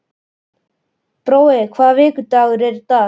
Brói, hvaða vikudagur er í dag?